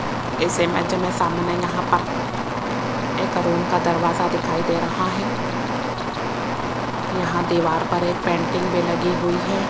इस इमेज में सामने यहां पर एक रूम का दरवाजा दिखाई दे रहा है यहां दीवार पर एक पेंटिंग भी लगी हुई है।